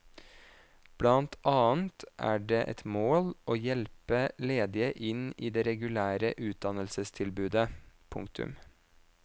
Blant annet er det et mål å hjelpe ledige inn i det regulære utdannelsestilbudet. punktum